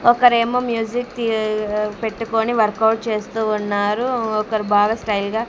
ఒకరేమో మ్యూజిక్ పెట్టుకుని work out చేస్తూ ఉన్నారు ఒకరు బాగా స్టైల్ గా--